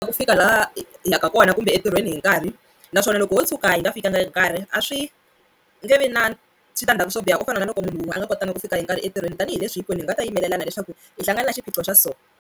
Ku fika laha hi yaka kona kumbe entirhweni hi nkarhi naswona loko wo tshuka hi nga fikangi hi nkarhi a swi nge vi na switandzhaku swo biha ku fana na loko munhu wun'we a nga kotanga ku fika hi nkarhi entirhweni tanihileswi hinkwenu hi nga ta yimelelana leswaku hi hlangane xiphiqo xa so.